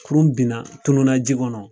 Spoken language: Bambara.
Kurun binna tununa ji kɔnɔ.